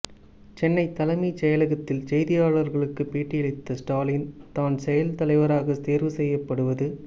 சென்னை தலைமை செயலக்த்தில் செய்தியாளர்களுக்கு பேட்டி அளித்த ஸ்டாலின் தான் செயல் தலைவராக தேர்வு செய்யப்படுவது